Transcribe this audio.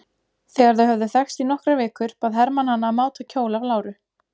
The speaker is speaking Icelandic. Þegar þau höfðu þekkst í nokkrar vikur bað Hermann hana að máta kjól af láru.